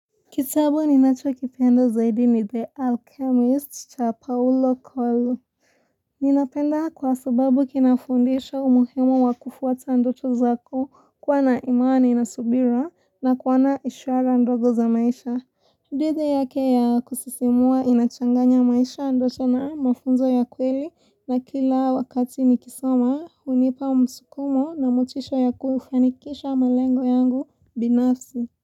Kitabu ni nachokipenda zaidi ni The Alchemist cha Paolo Kolu Ninapenda kwa subabu kinafundisha umuhimu wa kufuata ndoto zako kuwa na imani na subira na kuwa na ishara ndogo za maisha hadithi yake ya kusisimua inachanganya maisha ndoto na mafunzo ya kweli na kila wakati nikisoma hunipa musukumo na motisho ya kufanikisha malengo yangu binafsi.